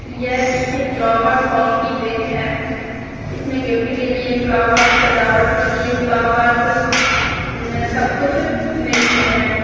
ये किसी flower shop की पिक है इसमें गिफ्ट के लिए फ्लावर सजावट के लिए फ्लावर्स सब कुछ मिलते हैं।